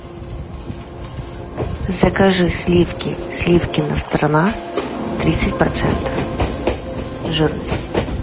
закажи сливки сливкина страна тридцать процентов жирности